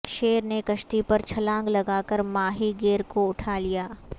شیر نے کشتی پر چھلانگ لگا کر ماہی گیر کو اٹھا لیا